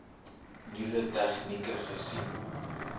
nuwe tegnieke gesien